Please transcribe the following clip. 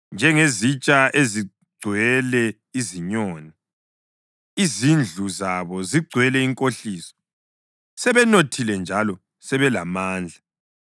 Njengezitsha ezigcwele izinyoni, izindlu zabo zigcwele inkohliso; sebenothile njalo sebelamandla